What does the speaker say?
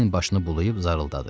Ceyn başını bulayıb zarıldadı.